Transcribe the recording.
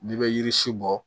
N'i bɛ yiri si bɔ